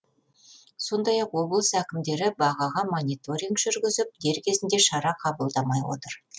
сондай ақ облыс әкімдері бағаға мониторинг жүргізіп дер кезінде шара қабылдамай отыр